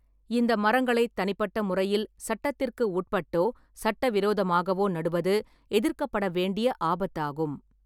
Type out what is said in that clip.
இந்த மரங்களைத் தனிப்பட்ட முறையில் சட்டத்திற்கு உட்பட்டோ சட்டவிரோதமாகவோ நடுவது எதிர்க்கப்பட வேண்டிய ஆபத்தாகும்.